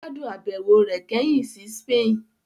Ó gbádùn àbẹ̀wò rẹ̀ kẹ́hìn sí Spain